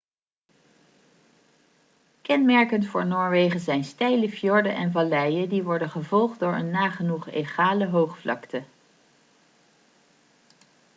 kenmerkend voor noorwegen zijn steile fjorden en valleien die worden gevolgd door een nagenoeg egale hoogvlakte